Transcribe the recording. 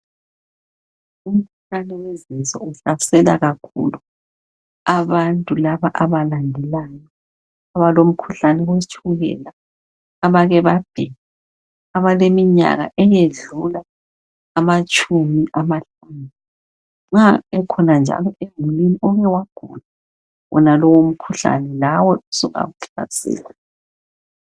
Umkhuhlane wezinso uhlasela kakhulu abantu laba abalendalayo, abalo mkhuhlane wetshukela, abake babhema, abaleminyaka eyedlula ama tshumi amahlanu , nxa ekhona njalo emulini oke wagula wonalowu umkhuhlane lawe sungakuhlasela.